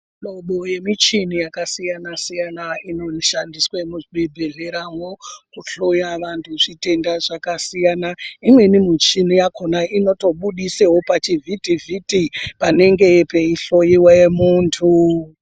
Mihlobo yemichini yakasiyana-siyana inoshandiswa muzvibhedhleramwo, kuhloya vantu zvitenda zvakasiyana. Imweni michini yakhona inotobuditsawo pachivhitivhiti panenge pachihloyiwe muntu.